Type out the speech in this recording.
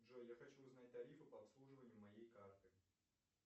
джой я хочу узнать тарифы по обслуживанию моей карты